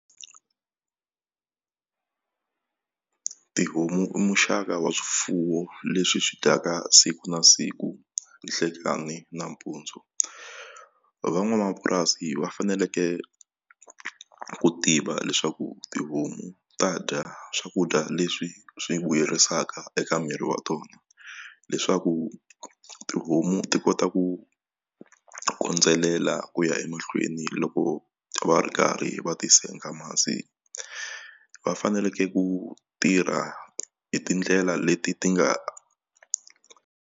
Tihomu i muxaka wa swifuwo leswi swi dyaka siku na siku nhlekani nampundzu van'wamapurasi va faneleke ku tiva leswaku tihomu ta dya swakudya leswi swi vuyerisaka eka miri wa tona leswaku tihomu ti kota ku kondzelela ku ya emahlweni loko va ri karhi va ti senga masi va faneleke ku tirha hi tindlela leti ti nga.